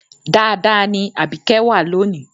Dáadáa ni Àbíkẹ́ wà lónì